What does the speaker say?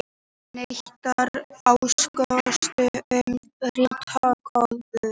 Neitar ásökunum um ritskoðun